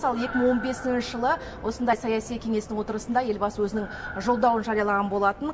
мысалы екі мың он бесінші жылы осындай саяси кеңестің отырысында елбасы өзінің жолдауын жариялаған болатын